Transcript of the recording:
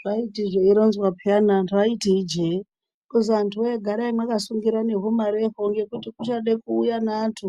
Zvaiti zveironzwa peyana antu aiti ijee kuzi antuwee garai makasungira nehumareho ngekuti kuchade kuuya neantu